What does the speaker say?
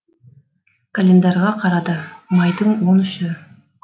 календарьға қарады майдың он үші